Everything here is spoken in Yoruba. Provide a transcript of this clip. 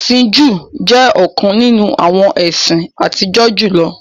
Ẹ̀sin Jùú jẹ̀ ọ̀kan nínu awọn ẹ̀sin àtìjọ́ julọ.